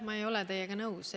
Ma ei ole teiega nõus.